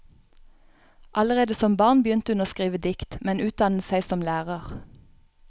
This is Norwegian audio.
Allerede som barn begynte hun å skrive dikt, men utdannet seg som lærer.